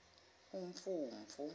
umfumfu